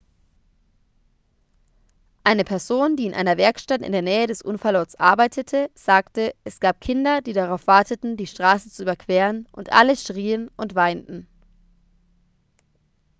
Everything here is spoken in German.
eine person die in einer werkstatt in der nähe des unfallortes arbeitete sagte es gab kinder die darauf warteten die straße zu überqueren und alle schrien und weinten